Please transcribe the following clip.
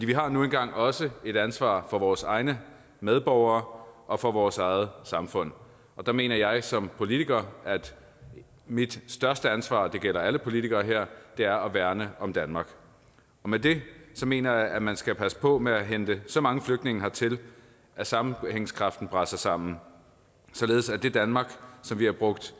vi har nu engang også et ansvar for vores egne medborgere og for vores eget samfund og der mener jeg som politiker at mit største ansvar og det gælder alle politikere her er at værne om danmark med det mener jeg at man skal passe på med at hente så mange flygtninge hertil at sammenhængskraften braser sammen således at det danmark som vi har brugt